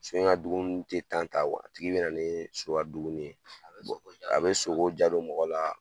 So in ka dumuni tɛ ta a tigi bɛna na ni so ka dumuni ye a bɛ a bɛ soko jadu diya don mɔgɔ la